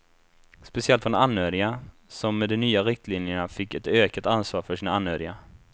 Speciellt från anhöriga, som med de nya riktlinjerna fick ett ökat ansvar för sina anhöriga.